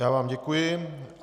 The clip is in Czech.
Já vám děkuji.